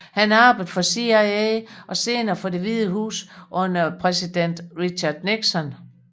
Han arbejdede for CIA og senere for Det Hvide Hus under præsiden Richard Nixon